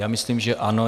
Já myslím, že ano.